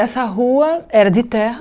Essa rua era de terra.